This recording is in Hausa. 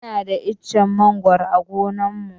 Muna da ichen mangoro a gonan mu.